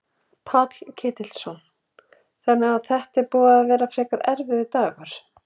Páll Ketilsson: Þannig að þetta er búið að vera frekar erfiður dagur?